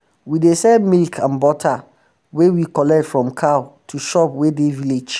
we dey sell milk and butter um wey we collect from cow to shop wey um dey village